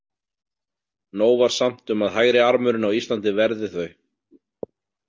Nóg var samt um að hægri- armurinn á Íslandi verði þau.